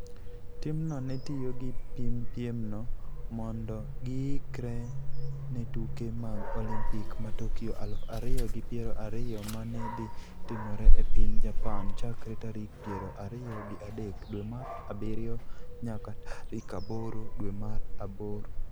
Timno ne tiyo gi piemno mondo giikre ne tuke mag Olimpik ma Tokyo aluf ariyo gi piero ariyo ma ne dhi timore e piny Japan chakre tarik piero ariyo gi adek dwe mar abiriyo nyaka tarik aboro dwe mar aboro.